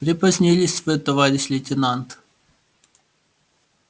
припозднились вы товарищ лейтенант